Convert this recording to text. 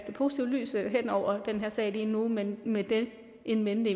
positivt lys hen over den her sag lige nu men med det in mente